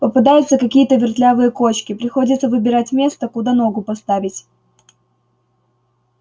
попадаются какие-то вертлявые кочки приходится выбирать место куда ногу поставить